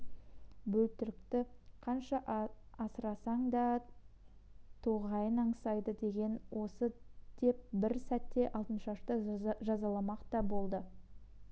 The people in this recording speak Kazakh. бөлтірікті қанша асырасаң да тоғайын аңсайды деген осы деп бір сәтте алтыншашты жазаламақ та болды